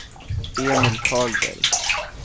Emil Karlberg